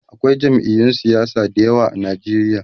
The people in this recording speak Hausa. akwai jam'iyun siyasa da yawa a Nigeria